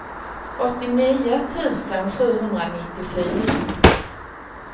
åttionio tusen sjuhundranittiofyra